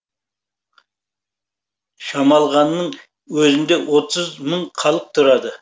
шамалғанның өзінде отыз мың халық тұрады